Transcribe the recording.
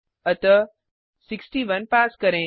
अतः 61 पास करें